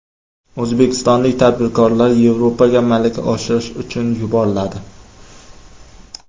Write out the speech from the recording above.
O‘zbekistonlik tadbirkorlar Yevropaga malaka oshirish uchun yuboriladi.